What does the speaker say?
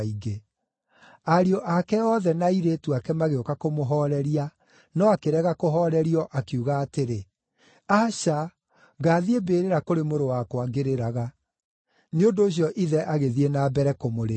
Ariũ ake othe na airĩtu ake magĩũka kũmũhooreria, no akĩrega kũhoorerio, akiuga atĩrĩ, “Aca! Ngathiĩ mbĩrĩra kũrĩ mũrũ wakwa ngĩrĩraga.” Nĩ ũndũ ũcio ithe agĩthiĩ na mbere kũmũrĩrĩra.